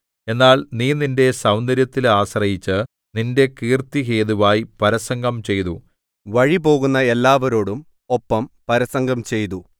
എന്നാൽ നീ നിന്റെ സൗന്ദര്യത്തിൽ ആശ്രയിച്ച് നിന്റെ കീർത്തി ഹേതുവായി പരസംഗം ചെയ്തു വഴിപോകുന്ന എല്ലാവരോടും ഒപ്പം പരസംഗം ചെയ്തു